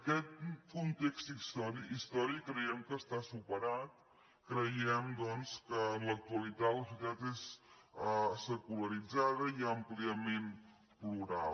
aquest context històric creiem que està superat creiem doncs que en l’actualitat la societat és secularitzada i àmpliament plural